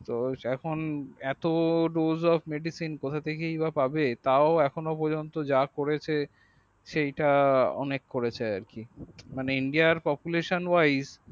তো এখন এত dojofmedisin কোথাথেকেই বাপাবে তাও এখনো পযন্ত যা করছে সেটা অনেক করছে আর কি। মানে indiarpopulaesonwife